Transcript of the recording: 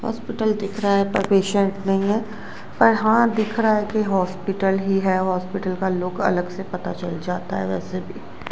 Hospital दिख रहा है पर पेशेंट नहीं है पर हां दिख रहा है कि हॉस्पिटल ही है हॉस्पिटल का लुक अलग से पता चल जाता है वैसे भी।